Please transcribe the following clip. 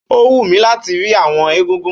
Ó wú mi láti rí àwọn egúngún